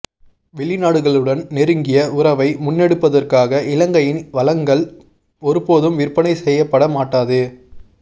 வெளிநாடுகளுடன் நெருங்கிய உறவை முன்னெடுப்பதற்காக இலங்கையின் வளங்கள் ஒருபோதும் விற்பனை செய்யப்பட மாட்டாது